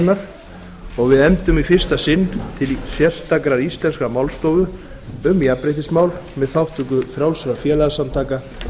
kvennanefndarinnar og við efndum í fyrsta sinn til sérstakrar íslenskrar málstofu um jafnréttismál með þátttöku frjálsra félagasamtaka